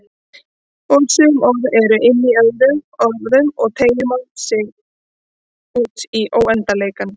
Og sum orð eru inní öðrum orðum og málið teygir sig útí óendanleikann.